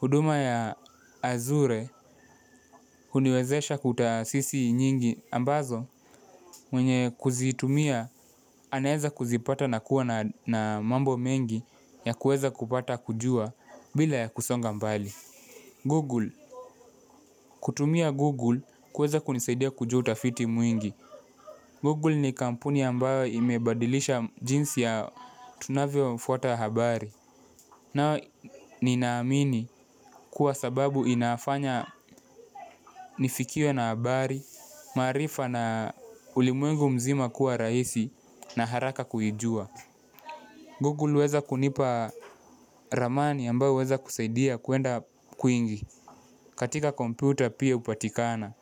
huduma ya azure. Huniwezesha kutasisi nyingi ambazo mwenye kuzitumia anaeza kuzipata na kuwa na mambo mengi ya kueza kupata kujua bila ya kusonga mbali. Google, kutumia Google kueza kunisaidia kujua utafiti mwingi. Google ni kampuni ambayo imebadilisha jinsi ya tunavyofuata habari. Nao ni naamini kuwa sababu inafanya nifikiwe na habari, maarifa na ulimwengu mzima kuwa rahisi na haraka kujua. Google huweza kunipa ramani ambayo huweza kusaidia kwenda kwingi. Katika komputa pia upatikana.